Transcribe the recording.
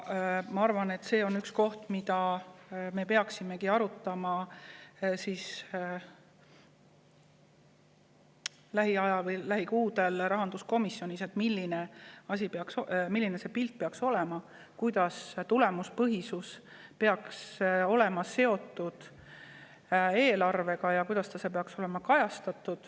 Ma arvan, et me peaksimegi lähiajal, lähikuudel rahanduskomisjonis arutama, milline see pilt peaks olema, kuidas peaks tulemuspõhisus olema seotud eelarvega ja kuidas see peaks olema seal kajastatud.